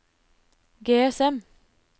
GSM